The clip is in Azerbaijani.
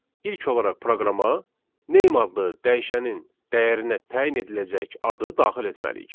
İlk olaraq proqrama name adlı dəyişənin dəyərinə təyin ediləcək adı daxil etməliyik.